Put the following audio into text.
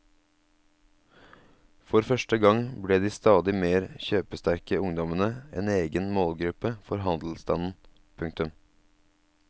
For første gang ble de stadig mer kjøpesterke ungdommene en egen målgruppe for handelsstanden. punktum